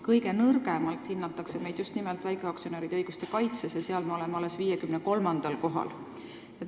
Kõige nõrgemalt hinnatakse meid just nimelt väikeaktsionäride õiguste kaitse poolest, seal me oleme alles 53. kohal.